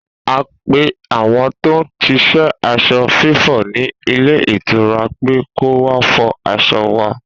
A pe àwọn tó ń ṣiṣẹ́ aṣọ fífọ̀ ní ilé ìtura pé kọ́ wá fọ aṣọ wa